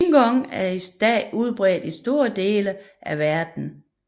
Qigong er i dag udbredt i store dele af verden